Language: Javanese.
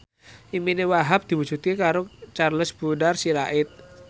impine Wahhab diwujudke karo Charles Bonar Sirait